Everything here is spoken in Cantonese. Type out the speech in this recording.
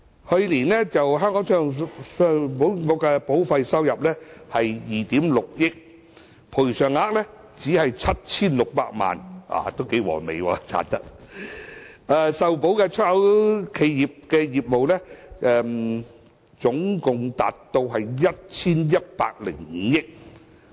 去年，信保局的保費收入是2億 6,000 萬元，賠償額只是 7,600 萬元，利潤相當可觀，受保的出口企業的業務額達到 1,105 億元。